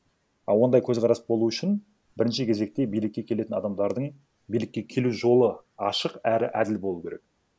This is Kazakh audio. а ондай көзқарас болу үшін бірінші кезекте билікке келетін адамдардың билікке келу жолы ашық әрі әділ болуы керек